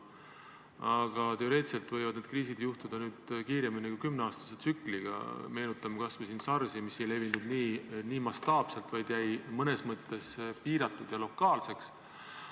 Aga teoreetiliselt võivad need kriisid tekkida kiiremini kui kümneaastase tsükliga, meenutame kas või SARS-i, mis ei levinud nii mastaapselt, vaid jäi mõnes mõttes piiratuks ja lokaalseks.